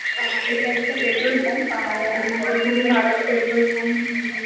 আ এটা একটা petrol pump আর আ যেখানে ভারত পেট্রোল পাম্প উম --